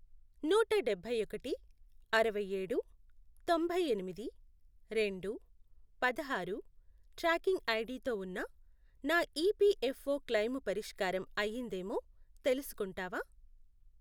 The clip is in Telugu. నూట డబ్బైఒకటి, అరవైఏడు, తొంభైఎనిమిది, రెండు, పదహారు, ట్రాకింగ్ ఐడితో ఉన్న నా ఈపిఎఫ్ఓ క్లెయిము పరిష్కారం అయ్యిందేమో తెలుసుకుంటావా?